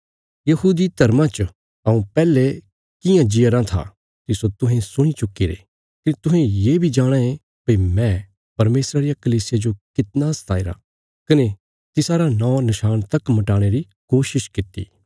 यहूदी धर्मा च हऊँ पैहले कियां जीया राँ था तिस्सो तुहें सुणी चुक्कीरे कने तुहें ये बी जाणाँ ये भई मैं परमेशरा रिया कलीसिया जो कितना सताईरा कने तिसारा नौं नशाण तक मटयाणे री कोशिश कित्ती